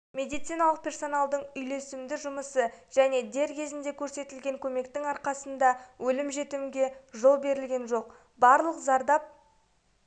медициналық персоналдың үйлесімді жұмысы және дер кезінде көрсетілген көмектің арқасында өлім-жітімге жол берілген жоқ барлық зардап